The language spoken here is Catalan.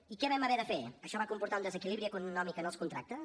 i què vam haver de fer això va comportar un desequilibri econòmic en els contractes